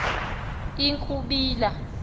i i ukubila